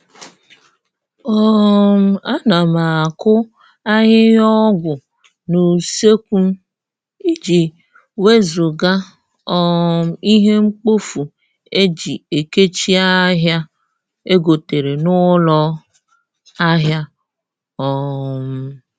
um A na m akụ ahịhịa ọgwụ n'useekwu m, iji wezụga um ihe mkpofu eji ekechi ahịa egotere n'ụlọ ahịa um